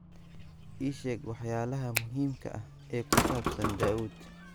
Ii sheeg waxyaalaha muhiimka ah ee ku saabsan Daa'uud